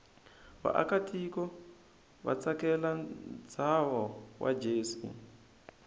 vaakatiko vatsakela nshavo wajse